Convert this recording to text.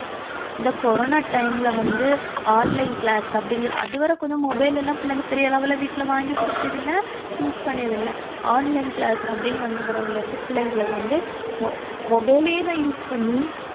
இந்த corona time ல வந்து online class அப்படின்னுசொல்~ அதுவரை கொஞ்சம் mobile எல்லாம் பிள்ளைங்க பெரிய அளவுல வீட்டுல வாங்கி குடுக்கியதில்லை use பண்ணியது இல்லை. online class அப்படின்னு வந்த பிறகு பிள்ளைங்களுக்கு வந்து mobile ஏதான் use பண்ணி